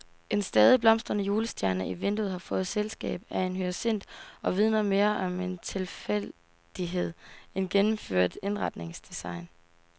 En stadig blomstrende julestjerne i vinduet har fået selskab af en hyacint og vidner mere om travl tilfældighed end gennemført indretningsdesign.